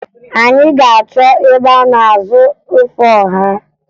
Anyị ga-achọ ebe a na-azụ ofe ọha